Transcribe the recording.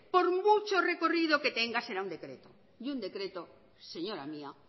por mucho recorrido que tenga será un decreto y un decreto señora mía